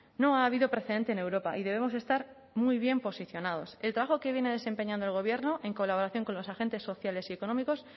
no ha habido precedente en europa y debemos estar muy bien posicionados el trabajo que viene desempeñando el gobierno en colaboración con los agentes sociales y económicos